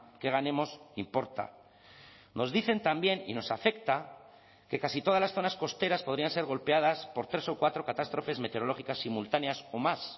que ganemos importa nos dicen también y nos afecta que casi todas las zonas costeras podrían ser golpeadas por tres o cuatro catástrofes meteorológicas simultáneas o más